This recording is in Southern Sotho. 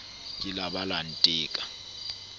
ke la ba la nteka